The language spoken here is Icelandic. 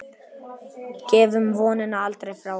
Gefum vonina aldrei frá okkur.